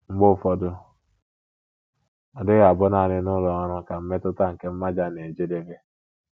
Mgbe ụfọdụ, ọ dịghị abụ nanị n’ụlọ ọrụ ka mmetụta nke mmaja na - ejedebe.